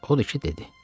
Odur ki, dedi: